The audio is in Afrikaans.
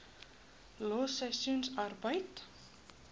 los seisoensarbeid